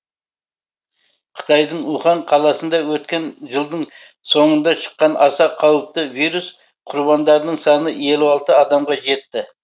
қытайдың ухань қаласында өткен жылдың соңында шыққан аса қауіпті вирус құрбандарының саны елу алты адамға адамға жетті